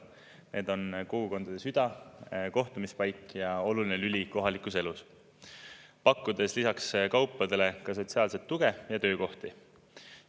Need on kogukondade süda, kohtumispaik ja oluline lüli kohalikus elus, pakkudes lisaks kaupadele ka sotsiaalset tuge ja töökohti.